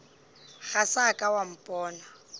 ga sa ka wa mpona